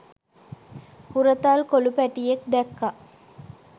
හුරතල් කොලු පැටියෙක් දැක්ක.